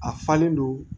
A falen don